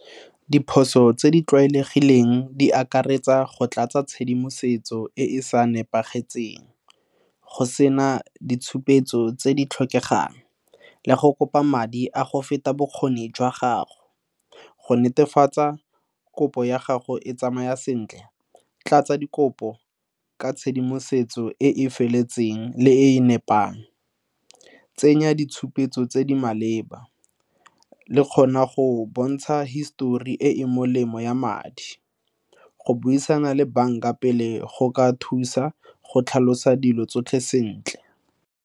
Diphoso tse di tlwaelegileng di akaretsa go tlatsa tshedimosetso e e sa nepagalang go sena ditshupetso tse di tlhokegang, le go kopa madi a go feta bokgoni jwa gago, go netefatsa kopo ya gago e tsamaya sentle tlatsa dikopo ka tshedimosetso e e feletseng le e nepagetseng. Tsenya ditshupetso tse di maleba gore go bontshe hisitori e e molemo ya madi, go buisana le banka pele go ka thusa go tlhalosa dilo tsotlhe sentle.